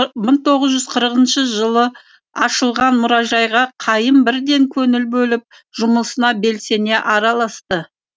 мың тоғыз жүз қырқыншы жылы ашылған мұражайға қайым бірден көңіл бөліп жұмысына белсене араласты